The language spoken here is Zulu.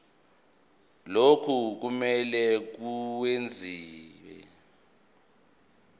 lokhu kumele kwenziwe